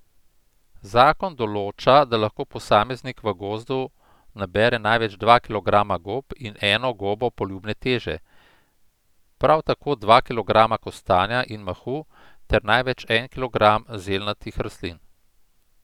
Zakon določa, da lahko posameznik v gozdu nabere največ dva kilograma gob in eno gobo poljubne teže, prav tako dva kilograma kostanja in mahu ter največ en kilogram zelnatih rastlin.